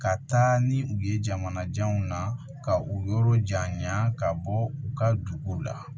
Ka taa ni u ye jamana janw na ka u yɔrɔ janya ka bɔ u ka duguw la